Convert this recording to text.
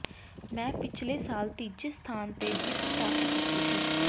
ਮੈਂ ਪਿਛਲੇ ਸਾਲ ਤੀਜੇ ਸਥਾਨ ਤੇ ਜਿੱਤ ਪ੍ਰਾਪਤ ਕੀਤੀ ਸੀ